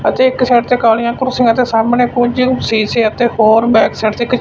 ਅਤੇ ਇੱਕ ਸਾਈਡ ਤੇ ਕਾਲੀਆਂ ਕੁਰਸੀਆਂ ਅਤੇ ਸਾਹਮਣੇ ਕੁਝ ਸੀਸੇ ਅਤੇ ਹੋਰ ਬੈਕ ਸਾਈਡ ਤੇ ਕੁ--